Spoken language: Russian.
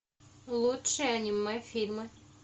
лучшие аниме фильмы